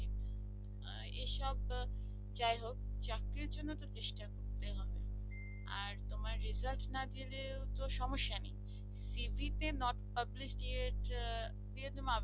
এসব যাই হোক চাকরি জন্য তো চেষ্টা করতে হয় আর তোমার result না দিলেও তো সমস্যা cv তে not publicity